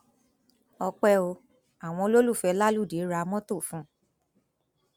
ọpẹ o àwọn olólùfẹ láludé ra mọtò fún un